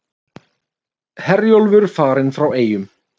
Herjólfur farinn frá Eyjum